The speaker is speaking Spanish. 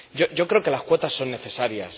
Yo creo que las cuotas son necesarias.